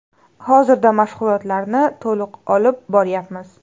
Hozirda mashg‘ulotlarni to‘liq olib boryapmiz.